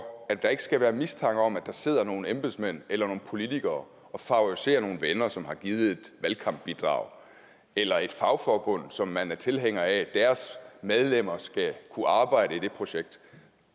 for at der ikke skal være mistanke om at der sidder nogle embedsmænd eller nogle politikere og favoriserer nogle venner som har givet et valgkampbidrag eller et fagforbund som man er tilhænger af sådan at deres medlemmer skal kunne arbejde i det projekt